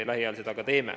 Lähiajal seda ka teeme.